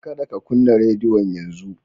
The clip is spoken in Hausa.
Kada ka kunna radiyon yanzu.